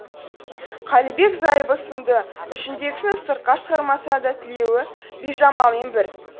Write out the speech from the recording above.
қалибек зайыбы сынды ішіндегісін сыртқа шығармаса да тілеуі бижамалмен бір